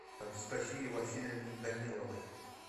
анастасии васильевне даниловой